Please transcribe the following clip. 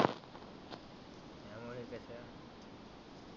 काय मो त्याच्यात